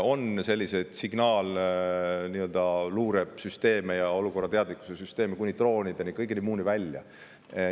On signaalluure süsteeme ja olukorrateadlikkuse süsteeme kuni droonide ja kõige muuni välja.